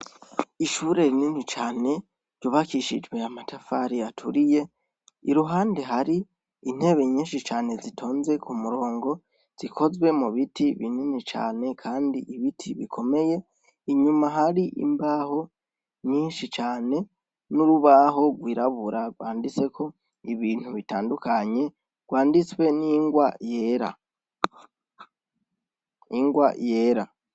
Ishure rinini cane, ryubakishijwe amatafari aturiye, iruhande hari, intebe nyinshi cane zitonze kumurongo zikozwe mubiti binini cane kandi ibiti bikomeye , inyuma hari imbaho nyinshi cane , n'urubaho gwirabura gwanditseko ibintu bitandukanye , gwanditswe n'ingwa yera. Ingwa yera.